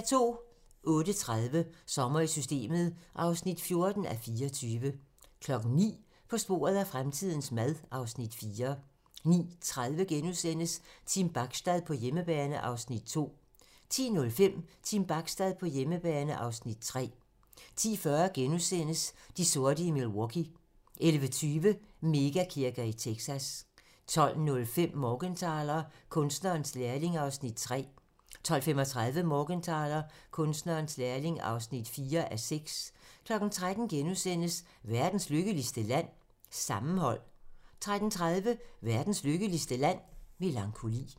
08:30: Sommer i Systemet (14:24) 09:00: På sporet af fremtidens mad (Afs. 4) 09:30: Team Bachstad på hjemmebane (Afs. 2)* 10:05: Team Bachstad på hjemmebane (Afs. 3) 10:40: De sorte i Milwaukee * 11:20: Mega-kirker i Texas 12:05: Morgenthaler: Kunstnerens lærling (3:6) 12:35: Morgenthaler: Kunstnerens lærling (4:6) 13:00: Verdens lykkeligste land? - Sammenhold * 13:30: Verdens lykkeligste Land? - Melankoli